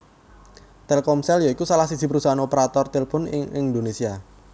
Telkomsel ya iku salah siji parusahaan operator tilpun ing Indonesia